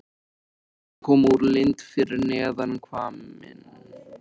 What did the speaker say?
Vatnið kom úr lind fyrir neðan hvamminn.